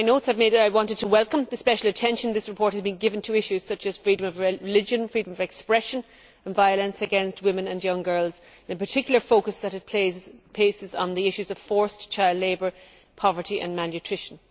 In my notes that I made I wanted to welcome the special attention this report has given to issues such as freedom of religion, freedom of expression and violence against women and young girls and, in particular, the focus that it places on the issues of forced child labour, poverty and malnutrition.